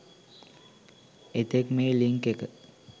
එ‍තෙක් මේ ලින්ක් එක